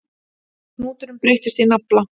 Hnúturinn breytist í nafla.